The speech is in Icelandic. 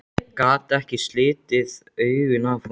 Gat ekki slitið augun af honum.